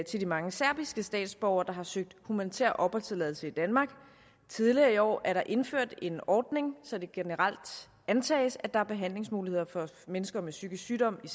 til de mange serbiske statsborgere der har søgt humanitær opholdstilladelse i danmark tidligere i år er der indført en ordning så det generelt antages at der er behandlingsmuligheder for mennesker med psykisk sygdom i